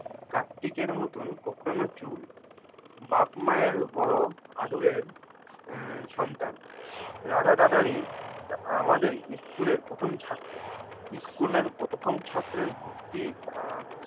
কার্তিকের মতন কোঁকড়ানো চুল বাপ মায়ের বড় আদরের আহ সন্তান রাধা দাদারী আমাদের স্কুলের প্রথম ছাত্র। স্কুলের প্রথম ছাত্রের ভর্তি আহ